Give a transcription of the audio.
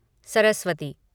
Saraswati